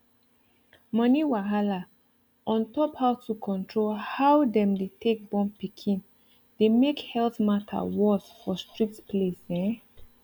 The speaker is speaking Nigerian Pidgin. money wahala on top how to control how them dey take born pikin dey make health matter worse for strict place ehn